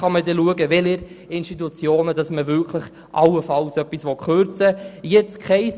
Dann wird man beurteilen können, welchen Institutionen allenfalls etwas gekürzt werden soll.